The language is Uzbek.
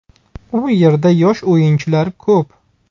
U yerda yosh o‘yinchilar ko‘p.